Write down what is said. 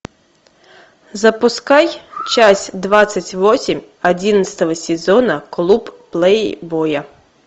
запускай часть двадцать восемь одиннадцатого сезона клуб плейбоя